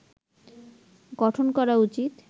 গঠন করা উচিত